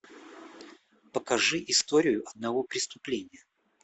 покажи историю одного преступления